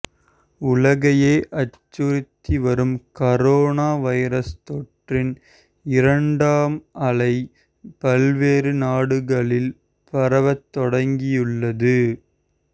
உலகையே அச்சுறுத்தி வரும் கரோனா வைரஸ் தொற்றின் இரண்டாம் அலை பல்வேறு நாடுகளில் பரவத் தொடங்கியுள்ளது